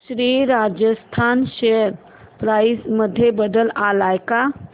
Shri Rajasthan share price मध्ये बदल आलाय का